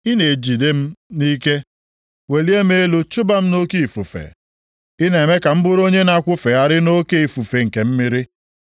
Ị na-ejide m nʼike welie m elu chụba m nʼoke ifufe, ị na-eme ka m bụrụ onye na-akwụfegharị nʼoke ifufe nke mmiri.